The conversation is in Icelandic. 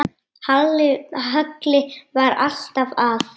Halli var alltaf að.